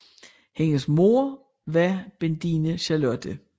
Hendes moder var Bendine Charlotte f